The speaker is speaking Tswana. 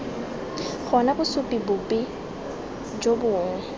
gona bosupi bope jo bongwe